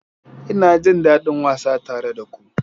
Ina jin daɗin wasa tare da ku.